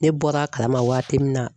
Ne bɔra a kalama waati min na.